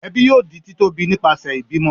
ẹbi yóò di ti tóbi nipasẹ ibimọ.